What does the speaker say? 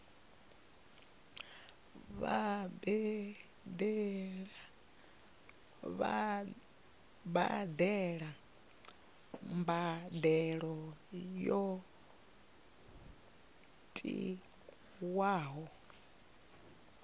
vha badele mbadelo yo tiwaho